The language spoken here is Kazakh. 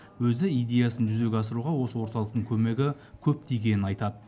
өзі идеясын жүзеге асыруға осы орталықтың көмегі көп тигенін айтады